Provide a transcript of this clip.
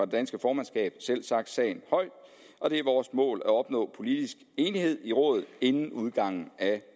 danske formandskabs side selvsagt sagen højt og det er vores mål at opnå politisk enighed i rådet inden udgangen af